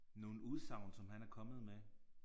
Nogle udsagn som han er kommet med